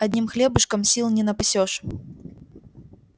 одним хлебушком сил не напасёшь